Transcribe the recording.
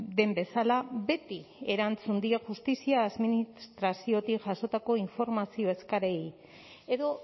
den bezala beti erantzun die justizia administraziotik jasotako informazio eskaerei edo